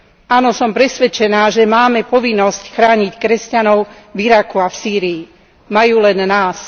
Áno, som presvedčená, že máme povinnosť chrániť kresťanov v Iraku a Sýrii, majú len nás.